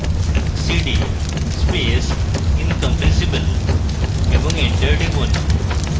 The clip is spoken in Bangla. cd space incompressible এবং এন্টার টিপুন